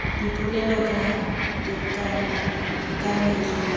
dipolelo ka tekano ka maitlhomo